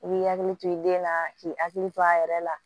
I b'i hakili to i den na k'i hakili to a yɛrɛ la